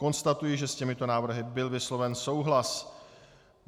Konstatuji, že s těmito návrhy byl vysloven souhlas.